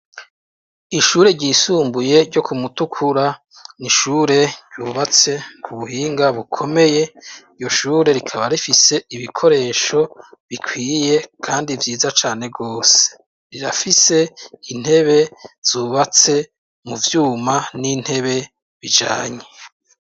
Ishure ryisumbuye ryo kumutukura, n’ishure rubatse ku buhinga bukomeye iyo shure rikaba rifise ibikoresho bikwiye kandi vyiza cane rwose, rirafise intebe zubatse mu vyuma n'intebe bijanye.